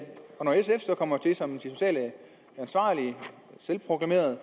når sf så kommer til som de selvproklamerede